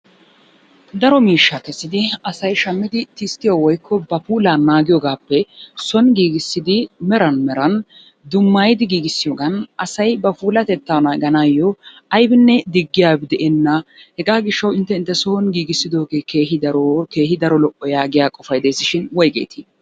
Daro miishshaa kessidi asay shamidi tisttiyo woykko ba puullaa naagiyogaappe soni giigissidi meran meran dummayidi giigissiyoogan asay ba puulatettaa naaganayoo aybbinne digiyabi de'enna. Hegaa gishawu inte inteson giigisidooge keehi daro keehi daro lo'o yaagiya qofay des shin woygeetii?